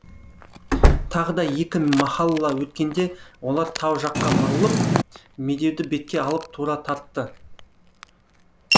тағы да екі махалла өткенде олар тау жаққа бұрылып медеуді бетке алып тура тартты